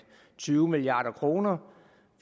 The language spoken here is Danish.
tyve milliard kr